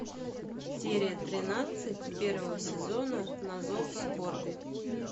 серия тринадцать первого сезона на зов скорби